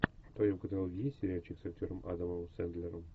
в твоем каталоге есть сериальчик с актером адамом сэндлером